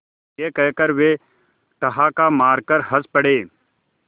यह कहकर वे ठहाका मारकर हँस पड़े